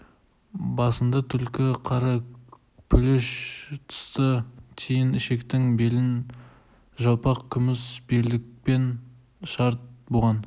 басында түлкі қара пүліш тысты тиін ішіктің белін жалпақ күміс белдікпен шарт буған